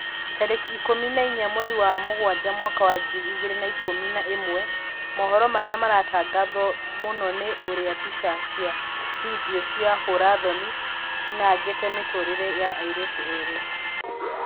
Tarĩki ikũmi na inya mweri wa Mũgaa mwaka wa ngiri igĩrĩ na ikũmi na ĩmwe mohoro marĩa maratangathwo mũno nĩ ũrĩa mbica cia bindio cia hũra-thoni cianangĩte mĩtũrĩre ya airĩtu erĩ